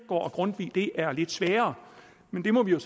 og grundtvig er lidt sværere men det må vi jo